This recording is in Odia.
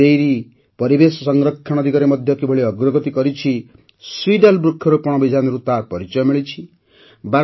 ବନାସ୍ ଡାଇରୀ ପରିବେଶ ସଂରକ୍ଷଣ ଦିଗରେ ମଧ୍ୟ କିପରି ଅଗ୍ରଗତି କରିଛି ସିଡ୍ୱାଲ୍ ବୃକ୍ଷରୋପଣ ଅଭିଯାନରୁ ତାର ପରିଚୟ ମିଳିଥାଏ